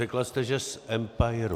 Řekla jste, že z empiru.